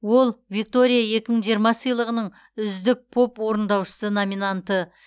ол виктории екі мың жиырма сыйлығының үздік поп орындаушысы номинанты